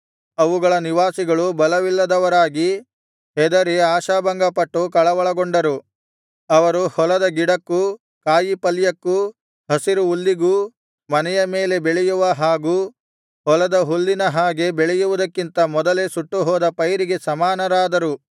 ಅವುಗಳ ನಿವಾಸಿಗಳು ಬಲವಿಲ್ಲದವರಾಗಿ ಹೆದರಿ ಆಶಾಭಂಗಪಟ್ಟು ಕಳವಳಗೊಂಡರು ಅವರು ಹೊಲದ ಗಿಡಕ್ಕೂ ಕಾಯಿ ಪಲ್ಯಕ್ಕೂ ಹಸಿರು ಹುಲ್ಲಿಗೂ ಮನೆಯ ಮೇಲೆ ಬೆಳೆಯುವ ಹಾಗೂ ಹೊಲದ ಹುಲ್ಲಿನ ಹಾಗೆ ಬೆಳೆಯುವುದಕ್ಕಿಂತ ಮೊದಲೇ ಸುಟ್ಟುಹೋದ ಪೈರಿಗೆ ಸಮಾನರಾದರು